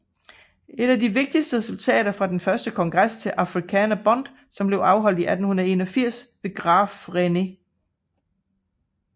Et af de vigtigste resultater var den første kongres til Afrikaner Bond som blev afholdt i 1881 ved Graaf Reinet